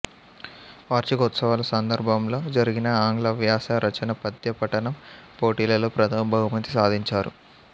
వార్షికోత్సవాల సందర్భంలో జరిగిన ఆంగ్లవ్యాస రచన పద్య పఠనం పోటీలలో ప్రథమ బహుమతి సాధించారు